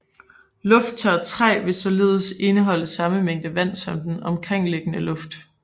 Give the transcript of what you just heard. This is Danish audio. Lufttørt træ vil således indeholde samme mængde vand som den omkringliggende luft